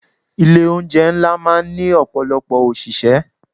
Ilé oúnjẹ ńlá máa ń ní ọ̀pọ̀lọpọ̀ òṣìṣẹ́.